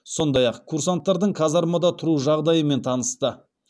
сондай ақ курсанттардың казармада тұру жағдайымен танысты